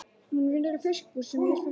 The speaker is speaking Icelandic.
Hún vinnur í fiskbúð sem ég fer stundum í.